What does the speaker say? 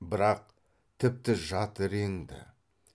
бірақ тіпті жат реңді